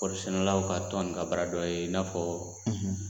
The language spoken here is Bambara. Kɔɔri sɛnɛlaw ka tɔn ni ka baaradɔ ye i n'a fɔ